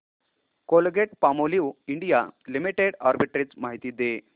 Colgate Palmolive India limited arbitrage माहिती दे